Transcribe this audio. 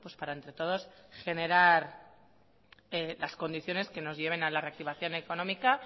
para entre todos generar las condiciones que nos lleven a la reactivación económica